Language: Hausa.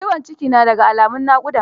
Ciwon ciki na da ga alamun naƙuda.